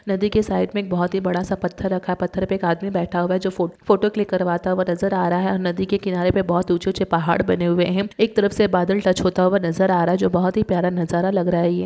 नदी के साइड में बहुत ही बड़ा सा पत्थर रखा। पत्थर पर एक आदमी बैठा हुआ है जो फो फोटो क्लिक करवाता हूआ नजर आ रहा है ओर नदी के किनारे पे बहुत ऊंचे ऊंचे पहाड़ बने हुए हैं एक तरफ से बदल टच होता हुआ नजर आ रहा जो बहुत ही प्यारा नजर लग रहा है यह।